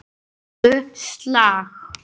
Úr dönsku: slag.